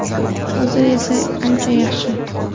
Hozir esa ancha yaxshi.